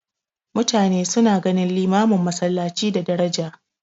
Mutane suna ganin limamin masallaci da daraja.